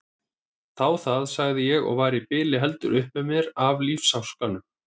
Þá það, sagði ég og var í bili heldur upp með mér af lífsháskanum.